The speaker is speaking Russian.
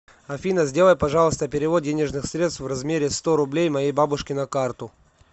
афина сделай пожалуйста перевод денежных средств в размере сто рублей моей бабушке на карту